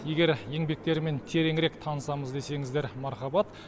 егер еңбектерімен тереңірек танысамыз десеңіздер мархабат